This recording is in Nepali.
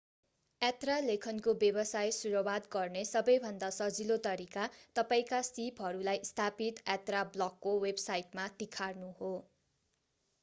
यात्रा लेखनको व्यवसाय सुरुवात गर्ने सबैभन्दा सजिलो तरिका तपाईंका सीपहरूलाई स्थापित यात्रा ब्लगको वेबसाइटमा तिखार्नु हो